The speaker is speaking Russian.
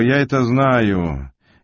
и я это знаю